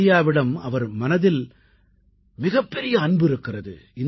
இந்தியாவிடம் அவர் மனதில் மிகப்பெரிய அன்பு இருக்கிறது